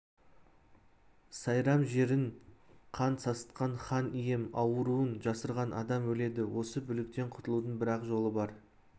сайрам жерін қан сасытқан хан ием ауруын жасырған адам өледі осы бүліктен құтылудың бір-ақ жолы бар